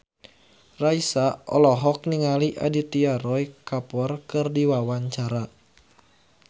Raisa olohok ningali Aditya Roy Kapoor keur diwawancara